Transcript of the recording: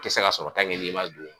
I ti se k'a sɔrɔ n'i ma don